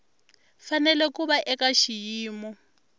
fanele ku va eka xiyimo